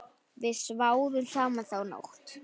Við sváfum saman þá nótt.